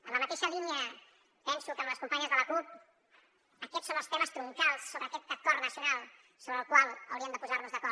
en la mateixa línia penso que les companyes de la cup aquests són els temes troncals sobre aquest acord nacional sobre el qual hauríem de posar nos d’acord